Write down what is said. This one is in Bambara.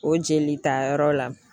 O jelitayɔrɔ la